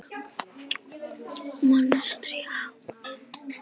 Mastrið á